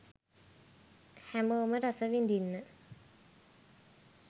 හැමෝම රසවිඳින්න